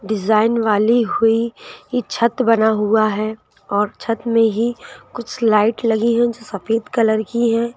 Design वाली हुई ये छत बना हुआ हैऔर छत में ही कुछ लाइट लगी हैंजो सफेद कलर की हैं।